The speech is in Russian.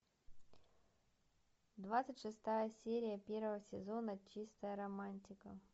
двадцать шестая серия первого сезона чистая романтика